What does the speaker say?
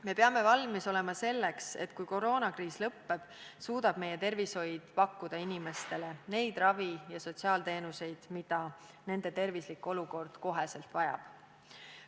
Me peame valmis olema selleks, et kui koroonakriis lõppeb, suudab meie tervishoiusüsteem pakkuda inimestele neid ravi- ja sotsiaalteenuseid, mida nende tervislik olukord kohe vajab.